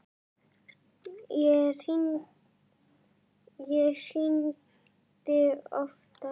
Ég hringdi oftar.